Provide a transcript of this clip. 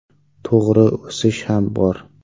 To‘g‘ri, o‘sish ham bor.